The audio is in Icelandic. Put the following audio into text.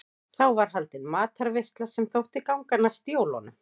Þá var haldin matarveisla sem þótti ganga næst jólunum.